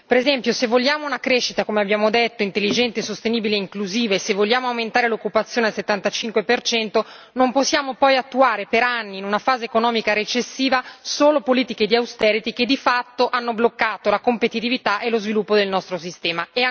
Per esempio se vogliamo una crescita, come abbiamo detto, intelligente, sostenibile e inclusiva e se vogliamo aumentare l'occupazione al 75, non possiamo poi attuare per anni, in una fase economica recessiva, solo politiche di che di fatto hanno bloccato la competitività e lo sviluppo del nostro sistema.